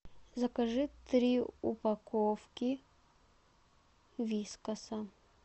закажи три упаковки вискаса